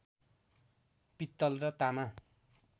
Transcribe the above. पित्तल र तामा